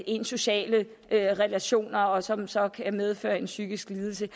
ens sociale relationer som så kan medføre en psykisk lidelse